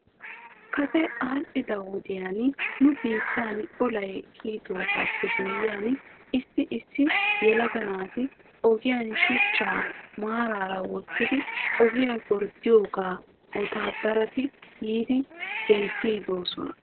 Kase aadhdhida wodiyan nu biittan olay kiyidoogaappe guyyihan issi issi yalaga naati ogiyaan shuchchaa maaraara wottidi ogiyaa gorddidoogaa wottaadarati yiidiidi denttidosona.